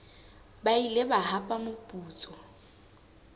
ba ile ba hapa moputso